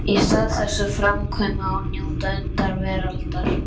Í stað þess að framkvæma og njóta undra veraldar?